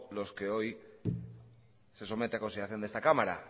los de hoy se somete a consideración de esta cámara